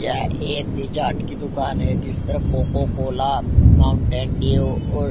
यह एक Pizza Hut की दुकान है जिस पर कोकाकोला माउंटेन ड्यू और--